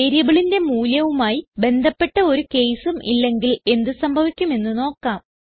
വേരിയബിളിന്റെ മൂല്യവുമായി ബന്ധപ്പെട്ട് ഒരു caseഉം ഇല്ലെങ്കിൽ എന്ത് സംഭവിക്കും എന്ന് നോക്കാം